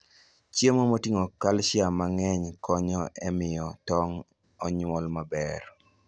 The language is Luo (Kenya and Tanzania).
Chiemo moting'o calcium mang'eny konyo e miyo tong' onyuol maber.